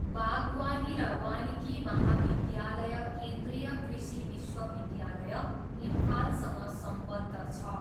बागवानी र वानिकी महाविद्यालय केन्द्रीय कृषि विश्वविद्यालय, इम्फालसँग सम्बद्ध छ।